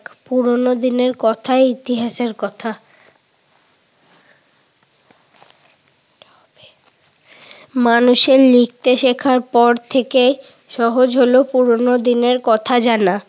পুরোনো দিনের কথা ইতিহাসের কথা। মানুষের লিখতে শিখার পর থেকে সহজ হলো পুরোনো দিনের কথা জানা।